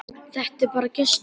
Þetta er bara gestur.